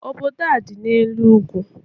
Obodo a dị n'elu ugwu.